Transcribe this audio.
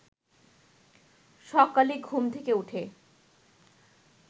সকালে ঘুম থেকে উঠে